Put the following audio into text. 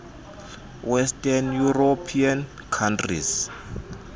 western european countries